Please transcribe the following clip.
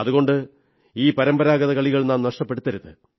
അതുകൊണ്ട് ഈ പരമ്പരാഗത കളികൾ നാം നഷ്ടപ്പെടുത്തരുത്